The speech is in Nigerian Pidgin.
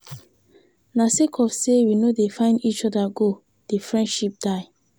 Na sake of sey we no dey find eachother go di friendship die.